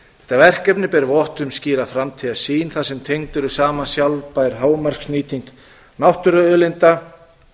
þetta verkefni ber vott um skýra framtíðarsýn þar sem tengdur er saman sjálfbær hámarksnýting náttúruauðlinda